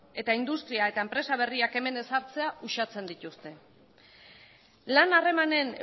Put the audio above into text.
eta industria eta enpresa berriak hemen ezartzea uxatzen dituzte lan harremanen